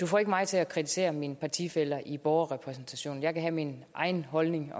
får ikke mig til at kritisere mine partifæller i borgerrepræsentationen jeg kan have min egen holdning